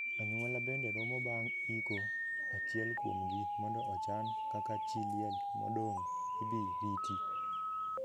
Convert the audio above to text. Anyuola bende romo bang' iko achiel kuomgi mondo ochan kaka chii liel modong' ibi riti.